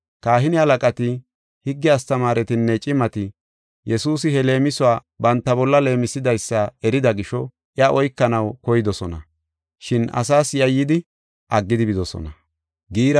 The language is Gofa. Kahine halaqati, higge astamaaretinne cimati Yesuusi he leemisuwa banta bolla leemisidaysa erida gisho, iya oykanaw koydosona, shin asaas yayyidi, aggidi bidosona.